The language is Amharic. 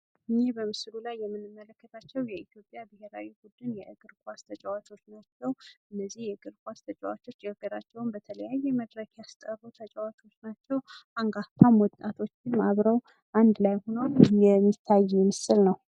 ይህ በምስሉ ላይ የምንመለከታቸው የኢትዮጵያ ብሄራዊ ቡድን የእግር ኳስ ተጫዋቾች ናቸው። እነዚህ የእግር ኳስ ተጫዋቾች ሀገራቸውን በተለያየ መድረክ ያስጠሩ ተጫዋቾች ናቸው። አንጋፋ ወጣቶችም አብረው አንድ ላይ ሁነው የሚታይ ምስል ነው።